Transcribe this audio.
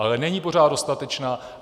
Ale není pořád dostatečná.